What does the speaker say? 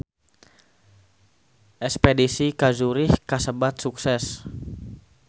Espedisi ka Zurich kasebat sukses